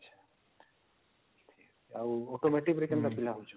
ଆଉ automotive ରେ କେନ୍ତା ପିଲା ହଉଛନ